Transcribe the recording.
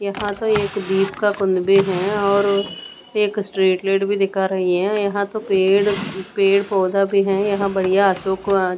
यहां तो एक दीप का कुंद भी है और एक स्ट्रीट लाइट भी दिखा रही है यहां तो पेड़ पेड़ पौधा भी है यहां बढ़िया अशोक आ --